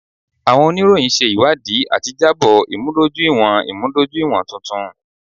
Awọn oniroyin ṣe iwadii ati jabo imudojuiwọn imudojuiwọn tuntun.